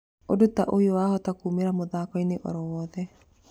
Ũndu ta ũyũ wahota kũmĩra mũthako-inĩ oro wothe